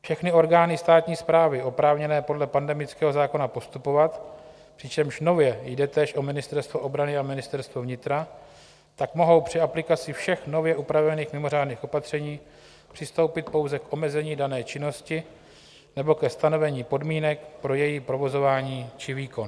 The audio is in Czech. Všechny orgány státní správy oprávněné podle pandemického zákona postupovat, přičemž nově jde též o Ministerstvo obrany a Ministerstvo vnitra, tak mohou při aplikaci všech nově upravených mimořádných opatření přistoupit pouze k omezení dané činnosti nebo ke stanovení podmínek pro její provozování či výkon.